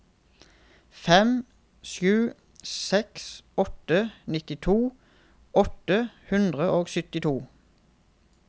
fem sju seks åtte nittito åtte hundre og syttito